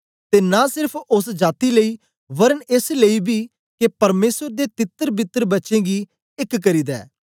ते न सेरफ ओस जाती लेई वरन एस लेई बी के परमेसर दे तितरबितर बच्चें गी एक करी दे